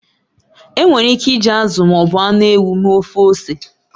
Enwere ike iji azụ ma ọ bụ anụ ewu mee ofe ose.